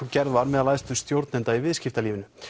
gerð var um æðstu stjórnendur í viðskiptalífinu